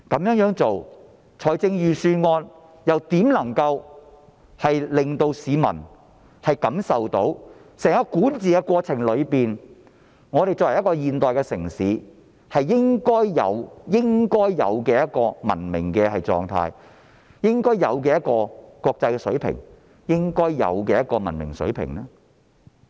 預算案採用這樣的做法，如何能令市民感受到在整個管治過程中，香港作為一個現代城市具備應有的文明狀態、應有的國際水平及應有的文明水平呢？